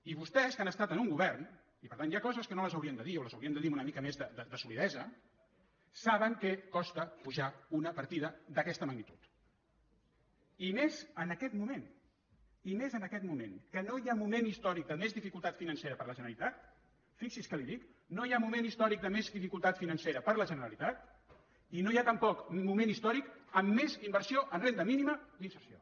i vostès que han estat en un govern i per tant hi ha coses que no les haurien de dir o les haurien de dir amb una mica més de solidesa saben què costa pujar una partida d’aquesta magnitud i més en aquest moment i més en aquest moment que no hi ha moment històric de més dificultat financera per a la generalitat fixi’s què li dic no hi ha moment històric de més dificultat financera per a la generalitat i no hi ha tampoc moment històric amb més inversió en renda mínima d’inserció